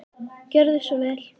Gjörðu svo vel.